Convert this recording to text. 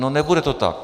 No, nebude to tak.